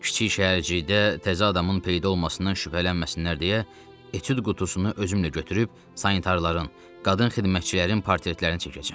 Kiçik şəhərcikdə təzə adamın peyda olmasından şübhələnməsinlər deyə etüd qutusunu özümlə götürüb sanitarıların, qadın xidmətçilərin portretlərini çəkəcəm.